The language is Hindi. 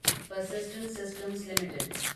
persistent Systems limited